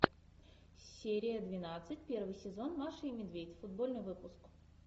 серия двенадцать первый сезон маша и медведь футбольный выпуск